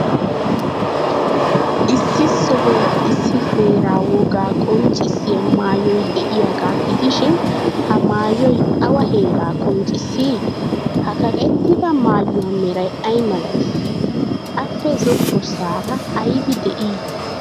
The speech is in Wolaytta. Issi sohuwan issi heeraa wogaa qonccissiyaa maayoy de'iyaagaa gidishin, ha maayoy awa heeraa qonccissii? Ha kaqettida maayuwa meray ay malatii? Appe zokkossaara aybi de'ii?